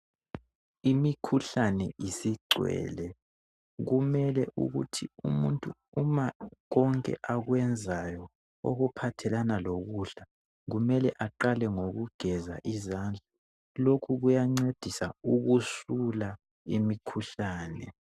Imikhuhlane isigcwele kumele ukuthi umuntu uma konke akwenzayo okuphathelana lokudla kumele aqale ngokugeza izandla lokhu kuyancedisa ukusula imikhuhlane.